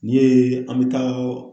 N'i ye an bɛ taa